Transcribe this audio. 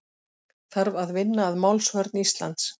Þarf að vinna að málsvörn Íslands